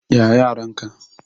Ya yaran ka?